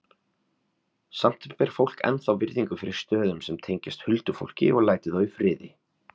Samt ber fólk ennþá virðingu fyrir stöðum sem tengjast huldufólki og lætur þá í friði.